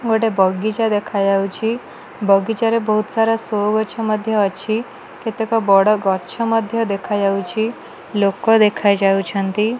ଗୋଟେ ବଗିଚା ଦେଖା ଯାଉଚି ବଗିଚା ରେ ବହୁତ ସାରା ସୋ ଗଛ ମଧ୍ୟ ଅଛି କେତେକ ବଡ଼ ଗଛ ମଧ୍ୟ ଦେଖାଯାଉଚି ଲୋକ ଦେଖା ଯାଉଛନ୍ତି।